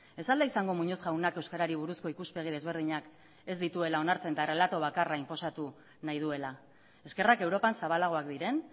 ez al da izango muñoz jaunak euskarari buruzko ikuspegi desberdinak ez dituela onartzen eta errelato bakarra inposatu nahi duela eskerrak europak zabalagoak diren